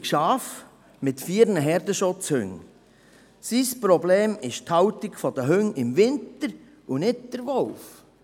Sein Problem ist die Haltung der Hunde im Winter und nicht der Wolf.